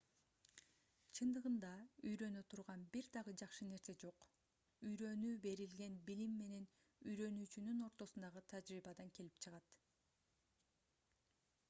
чындыгында үйрөнө турган бир дагы жакшы нерсе жок үйрөнүү берилген билим менен үйрөнүүчүнүн ортосундагы тажрыйбадан келип чыгат